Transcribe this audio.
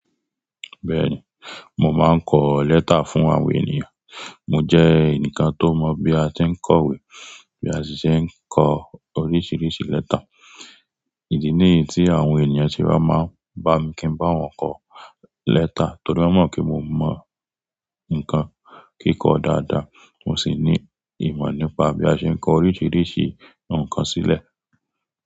Bẹ́ẹ̀ni, mo máa ń kọ lẹ́tà fún àwọn ènìyàn. Mo jẹ́ ẹnìkan tó mọ̀ bí a ti ń kọ ìwé, bí a ti ṣe ń kọ oríṣiríṣi lẹ́tà. Ìdí ní yí tí àwọn ènìyàn sé wá máa ń bá mi kí n bá wọn kọ lẹ́tà torí wọ́n mọ̀ pé mo mọ nǹkan kíkọ dáadáa. Mo sì ní ìmọ̀ nípa bí a ṣe ń kọ oríṣiríṣi nǹkan sílẹ̀.